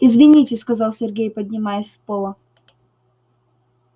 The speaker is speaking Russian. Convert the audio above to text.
извините сказал сергей поднимаясь с пола